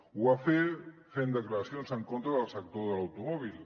ho va fer fent declaracions en contra del sector de l’automòbil